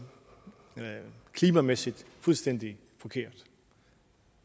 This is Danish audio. klimamæssigt fuldstændig forkert